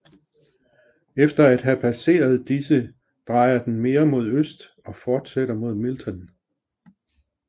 Efter at have passeret disse drejer den mere mod øst og fortsætter mod Milton